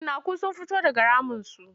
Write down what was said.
Cinnaku sun fito daga raminsu.